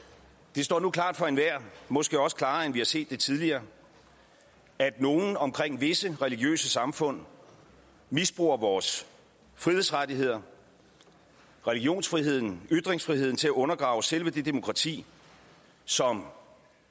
det står nu klart for enhver måske også klarere end vi har set det tidligere at nogle omkring visse religiøse samfund misbruger vores frihedsrettigheder religionsfriheden ytringsfriheden til at undergrave selve det demokrati som